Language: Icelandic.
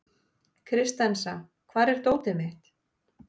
Kristensa, hvar er dótið mitt?